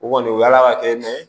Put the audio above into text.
U kɔni yala ka kɛ mɛ